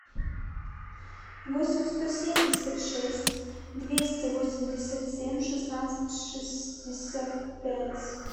восемь сто семьдесят шесть двести восемьдесят семь шестнадцать шестьдесят пять